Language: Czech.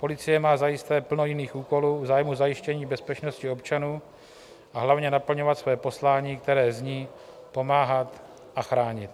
Policie má zajisté plno jiných úkolů v zájmu zajištění bezpečnosti občanů, a hlavně naplňovat své poslání, které zní pomáhat a chránit.